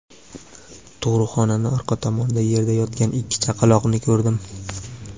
Tug‘ruqxonani orqa tomonida yerda yotgan ikki chaqaloqni ko‘rdim.